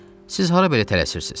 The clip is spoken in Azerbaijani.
Siz hara belə tələsirsiz?